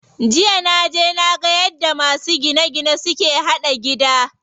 Jiya naje naga yadda masu gine gine suke haɗa gida.